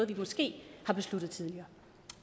vi måske har besluttet tidligere